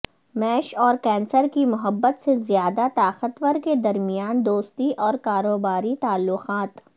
میش اور کینسر کی محبت سے زیادہ طاقتور کے درمیان دوستی اور کاروباری تعلقات